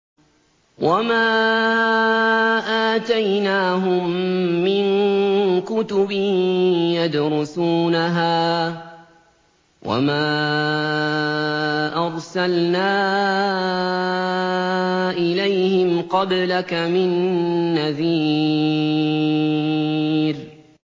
وَمَا آتَيْنَاهُم مِّن كُتُبٍ يَدْرُسُونَهَا ۖ وَمَا أَرْسَلْنَا إِلَيْهِمْ قَبْلَكَ مِن نَّذِيرٍ